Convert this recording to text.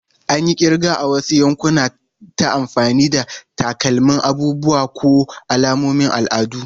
An yi kirga a wasu yankuna ta amfani da takamaiman abubuwa ko alamomin al'adu.